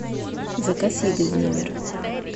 заказ еды в номер